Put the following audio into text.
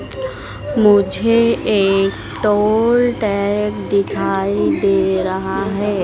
मुझे एक toll tag दिखाई दे रहा है।